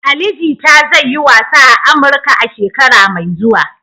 Ali Jita zai yi wasa a Amurka a shekara mai zuwa.